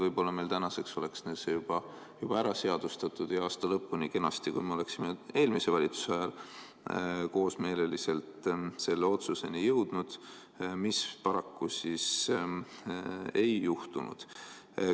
Võib-olla meil tänaseks oleks see juba ära seadustatud, kui me oleksime eelmise valitsuse ajal koosmeelselt selle otsuseni jõudnud, mida paraku ei juhtunud.